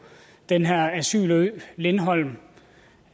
den her asylø lindholm